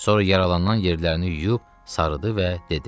Sonra yaralanan yerlərini yuyub sarıdı və dedi: